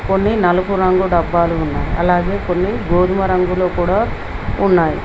కొన్ని నలుపు రంగు డబ్బాలు ఉన్నాయి అలాగే కొన్ని గోధుమ రంగులో కూడా ఉన్నాయి